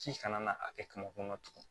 Ci kana n'a kɛ kaba kɔnɔ tugun